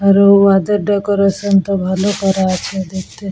রু ওয়াদের ডেকোরেশন -টা ভালো করা আছে দেখতে।